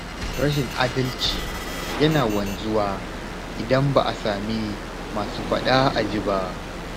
Rashin adalci yana wanzuwa idan ba a sami masu faɗa a ji ba.